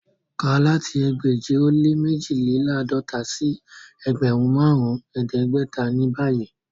Ká láti ẹgbẹ́je o le mẹjìlélàádọ̀tà sí ẹgbẹ́run màrùn ẹdẹgbẹ̀tà ni báyì!